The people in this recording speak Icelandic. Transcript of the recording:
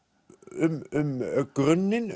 um grunninn